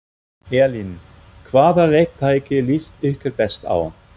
Elín: Hvaða leiktæki líst ykkur best á?